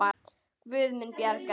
Guð mun bjarga þér.